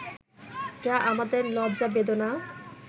যা আমাদের লজ্জা-বেদনা